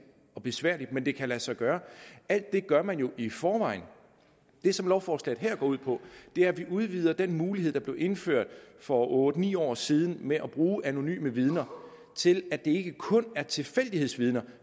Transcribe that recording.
og besværligt men det kan lade sig gøre alt det gør man jo i forvejen det som lovforslaget her går ud på er at vi udvider den mulighed der blev indført for otte ni år siden med at bruge anonyme vidner til at det ikke kun er tilfældighedsvidner